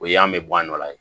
O ye yan an bɛ bɔ a nɔ la